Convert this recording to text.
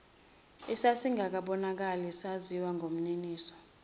esasingakabonakali saziwa ngumniniso